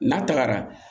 N'a tagara